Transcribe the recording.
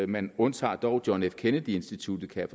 man undtager dog john f kennedy instituttet kan